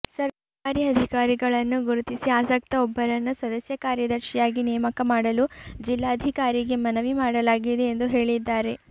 ಸರ್ಕಾರಿ ಅಧಿಕಾರಿಗಳನ್ನೂ ಗುರುತಿಸಿಆಸಕ್ತ ಒಬ್ಬರನ್ನು ಸದಸ್ಯ ಕಾರ್ಯದರ್ಶಿಯಾಗಿ ನೇಮಕ ಮಾಡಲು ಜಿಲ್ಲಾಧಿಕಾರಿಗೆ ಮನವಿ ಮಾಡಲಾಗಿದೆ ಎಂದು ಹೇಳಿದ್ದಾರೆ